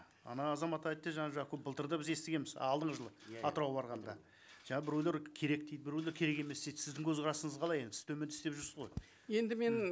ана азамат айтты жаңа көп былтыр да біз естігенбіз алдыңғы жылы атырауға барғанда жаңа біреулер керек дейді біреулер керек емес дейді сіздің көзқарасыңыз қалай енді сіз де істеп жүрсіз ғой енді мен